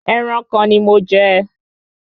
Ẹran kan ni mo jẹ